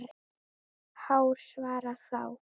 Hár svarar þá